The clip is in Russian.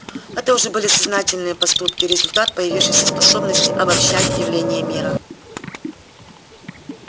это уже были сознательные поступки результат появившейся способности обобщать явления мира